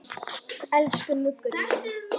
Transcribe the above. Elsku Muggur minn.